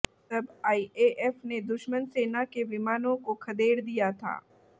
तब आईएएफ़ ने दुश्मन सेना के विमानों को खदेड़ दिया था